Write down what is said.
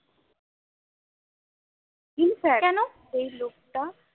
infact ওই লোকটা